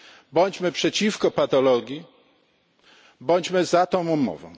Bądźmy przeciwko patologii, bądźmy za tą umową.